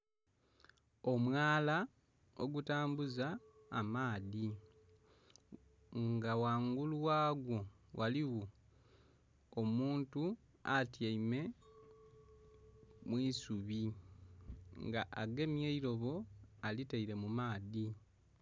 Omwaala ogutambuza amaadhi nga ghangulu ghagwo ghaligho omuntu atyaime mwisubi nga agemye eirobo akitaire mu maadhi.